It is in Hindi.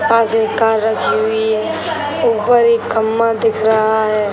पास में एक कार रखी हुई है | ऊपर एक खम्भा दिख रहा है |